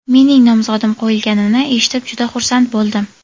Mening nomzodim qo‘yilganini eshitib juda xursand bo‘ldim.